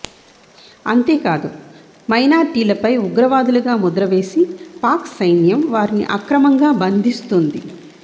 అంతేకాదు మైనార్టీలపై ఉగ్రవాదులుగా ముద్రవేసి పాక్ సైన్యం వారిని అక్రమంగా బంధిస్తుంది